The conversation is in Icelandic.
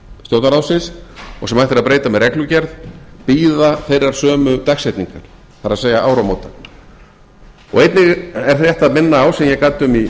stjórnarráðsins og sem hægt er að breyta með reglugerð bíða þeirrar sömu dagsetningar það er áramóta einnig er rétt að minna á sem ég gat um fyrr